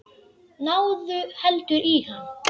Náðu heldur í hann.